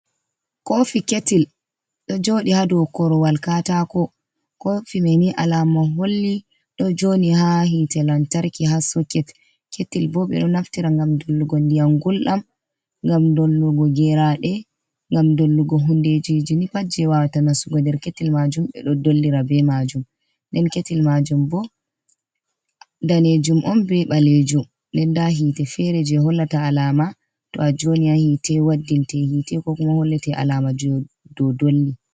Kofi ketil ɗo joɗi ha dou korwal katako, kofi me ni alama holli ɗo joni ha hitte lantarki ha soket, ketil bo ɓe ɗo naftira ngam dollugo ndiyam gulɗam, ngam dollugo geraɗe, ngam dollugo hundejiji ni pat je wawata nasugo nder ketil majum ɓe ɗo dollira be majum. nden ketil majum bo danejum on be ɓalejum den nda hitte fere je hollata alama to a joni ha hitte waddinte hitte ko kuma hollete alama dou dolli.